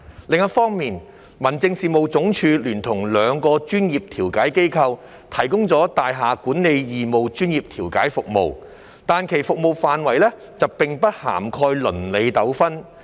另一方面，民政事務總署聯同兩個專業調解機構提供大廈管理義務專業調解服務，但其服務範圍並不涵蓋鄰里糾紛。